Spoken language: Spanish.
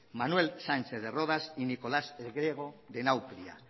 manuel sánchez de rodas y nicolás el griego de nauplia